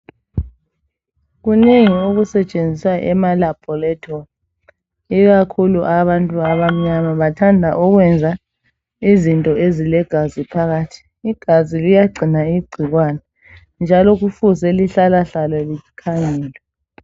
Kunengi okusetshenziswa emalaboratory ikakhulu abantu abamnyama bathanda ukwenza izinto ezilegazi phakathi. Igazi liyagcina igcikwane njalo kufuze lihlalahlale likhangelwe.